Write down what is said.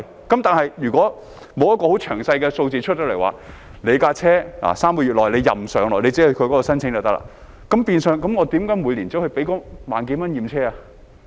但是，如果沒有很詳細的數字，例如車輛可在3個月內自由上落，只要申請便可，那麼市民為何還要每年繳付1萬多元去驗車？